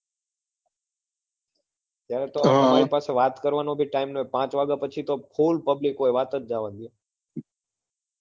ત્યારે તો તમાર પાસે વાત કરવા નો પણ time નતો પાંચ વગ્યા પછી તો public હોય વાત જ જવાદો